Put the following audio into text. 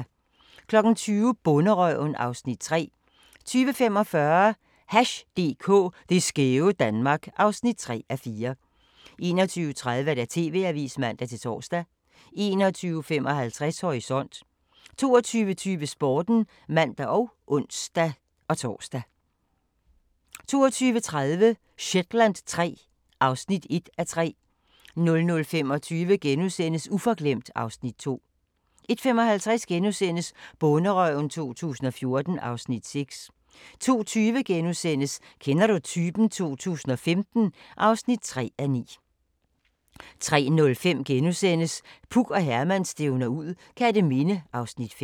20:00: Bonderøven (Afs. 3) 20:45: Hash DK – det skæve Danmark (3:4) 21:30: TV-avisen (man-tor) 21:55: Horisont 22:20: Sporten (man og ons-tor) 22:30: Shetland III (1:3) 00:25: Uforglemt (Afs. 2)* 01:55: Bonderøven 2014 (Afs. 6)* 02:20: Kender du typen? 2015 (3:9)* 03:05: Puk og Herman stævner ud - Kerteminde (Afs. 5)*